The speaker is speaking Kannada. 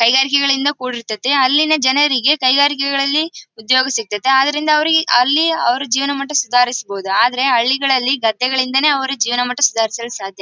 ಕೈಕಾರಿಕೆಗಳಿಂದ ಕೂಡಿರ್ತತ್ತೆ ಅಲ್ಲಿನ ಜನರಿಗೆ ಕೈಕಾರಿಕೆಗಳಲ್ಲಿ ಉದ್ಯೋಗ ಸಿಕ್ತಾತ್ತೆ ಅದರಿಂದ ಅವರಿಗೆ ಅಲ್ಲಿ ಅವರು ಜೀವನ ಮಟ್ಟ ಸುಧಾರಿಸಬಹುದು. ಆದ್ರೆ ಹಳ್ಳಿಗಳಲ್ಲಿ ಗದ್ದೆಗಳಿಂದಲೇ ಅವರ ಜೀವನ ಮಟ್ಟ ಸುಧಾರಿಸಾಲು ಸಾಧ್ಯ.